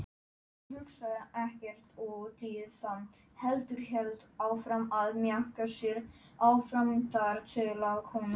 Hún er alin upp á vínarbrauði.